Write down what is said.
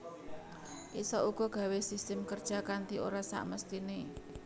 Isa uga gawé system kerja kanti ora sakmestiné